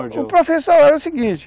o professor era o seguinte,